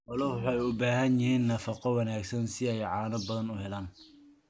Xooluhu waxay u baahan yihiin nafaqo wanaagsan si ay caano badan u helaan.